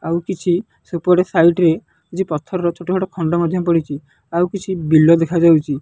ଆଉ କିଛି ସେପଟେ ସାଇଟ୍ ରେ କିଛି ପଥରର ଛୋଟ ଛୋଟ ଖଣ୍ଡ ମଧ୍ୟ ପଡ଼ିଚି। ଆଉ କିଛି ବିଲ ଦେଖାଯାଉଚି।